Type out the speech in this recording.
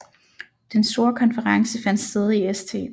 Den store konference fandt sted i St